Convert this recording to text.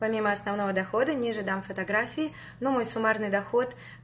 помимо основного дохода ниже дам фотографии ну мой суммарный доход